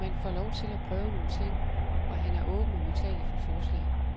Man får lov til at prøve nogle ting af, og han er åben og modtagelig for forslag.